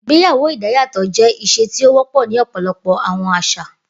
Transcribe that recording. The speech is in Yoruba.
Igbeyawo idayatọ jẹ iṣe ti o wọpọ ni ọpọlọpọ awọn aṣa.